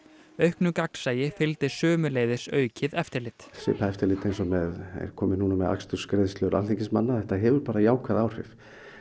auknu gagnsæi fylgdi sömuleiðis aukið eftirlit svipað eftirlit eins og er komið núna með akstursgreiðslur alþingismanna þetta hefur bara jákvæð áhrif